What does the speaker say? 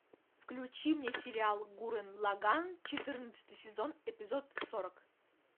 включи мне сериал гуррен лаганн четырнадцатый сезон эпизод сорок